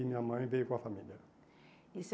E minha mãe veio com a família. E